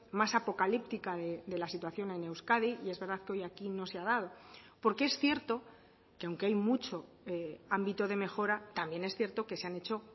más apocalíptica de la situación en euskadi y es verdad que hoy aquí no se ha dado porque es cierto que aunque hay mucho ámbito de mejora también es cierto que se han hecho